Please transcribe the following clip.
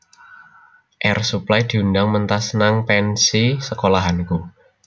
Air Supply diundang mentas nang pensi sekolahanku